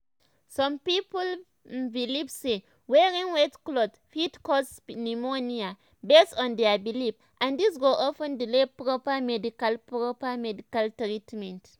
um some people um believe say wearing wet clothes fit cause um pneumonia based on their belief and this go of ten delay proper medical proper medical treatment.